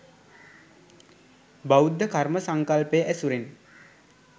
බෞද්ධ කර්ම සංකල්පය ඇසුරෙන්